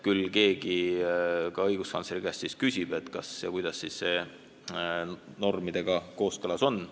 Küll keegi ka õiguskantsleri käest uurib, kuidas see normidega kooskõlas on.